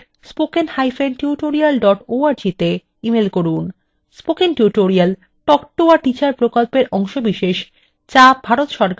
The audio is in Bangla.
spoken tutorial talk to a teacher প্রকল্পের অংশবিশেষ যা ভারত সরকারের ict mhrd এর national mission on education দ্বারা সমর্থিত